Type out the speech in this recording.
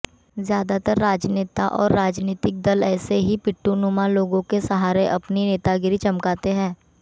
ज्य़ादातर राजनेता और राजनीतिक दल ऐसे ही पिट्ठुनुमा लोगों के सहारे अपनी नेतागिरी चमकाते हैं